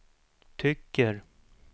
tycker